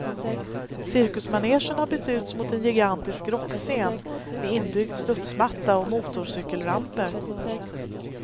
Cirkusmanegen har bytts ut mot en gigantisk rockscen med inbyggd studsmatta och motorcykelramper.